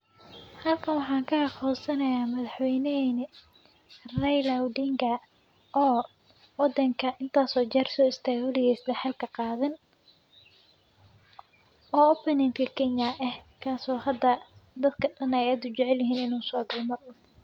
Aan ka aqoonsanayaa marxweyne en ray Raila odinga oo odhan inta soo jarso isteemuliyayaasha xalka qaadan. Openinkii Kenya ah kaasoo hadda dadka tan ay ugu jeclaan u soo gudbiyay Marwa.